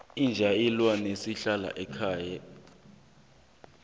inja ilwane esihlala ekhaya